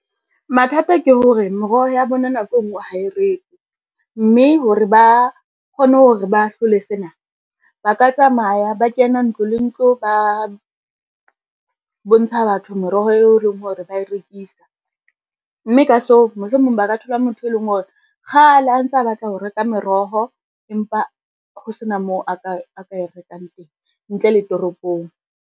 Mathata ke hore meroho ya bona nako e ngwe ha e rekwe, mme hore ba kgone hore ba hlole sena, ba ka tsamaya ba kena ntlo le ntlo, ba bontsha batho meroho eo leng hore ba e rekisa. Mme ka seo, mohlomong ba ka thola motho e leng hore kgale a ntsa a batla ho reka meroho, empa ho sena moo a ka e rekang teng ntle le toropong.